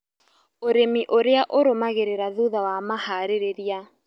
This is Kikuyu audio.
Ũrĩmi ũrĩa ũrũmagĩrĩra thutha wa maharĩria